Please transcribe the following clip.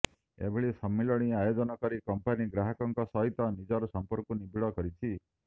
ଏଭଳି ସମ୍ମିଳନୀ ଆୟୋଜନ କରି କଂପାନି ଗ୍ରାହକଙ୍କ ସହିତ ନିଜର ସମ୍ପର୍କକୁ ନିବିଡ଼ କରୁଛି